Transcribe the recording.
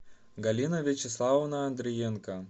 галина вячеславовна андриенко